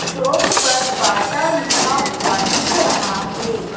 Shop पर Bata लिखा हुआ दिख रहा है।